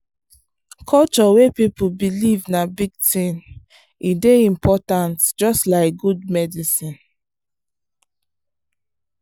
culture wey people believe na big thing e dey important just like good medicine.